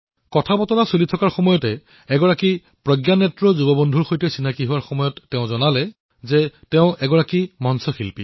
কথাবাৰ্তাৰ মাজতে এক প্ৰজ্ঞাচক্ষু তৰুণে কলে যে তেওঁ এজন মঞ্চশিল্পী